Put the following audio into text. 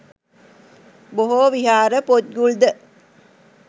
බොහෝ විහාර පොත්ගුල්ද